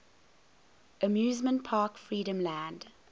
amusement park freedomland